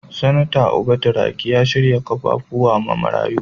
Senatar Uba Turaki ya shirya kaffafuwa ma marayu.